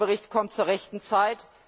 Der Bericht kommt zur rechten Zeit.